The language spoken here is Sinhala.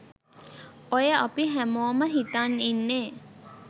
ඔය අපි හැමෝම හිතන් ඉන්නේ